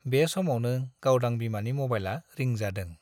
बे समावनो गावदां बिमानि मबाइला रिं जादों।